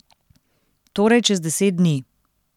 Torej čez deset dni.